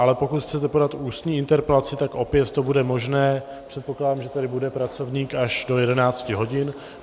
Ale pokud chcete podat ústní interpelaci, tak opět to bude možné, předpokládám, že tady bude pracovník až do 11 hodin.